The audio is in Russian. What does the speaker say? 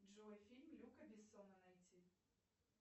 джой фильм люка бессона найти